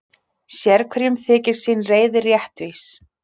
Sérhverjum þykir sín reiði réttvís.